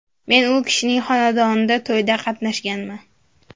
Men u kishinning xonadonida to‘yda qatnashganman.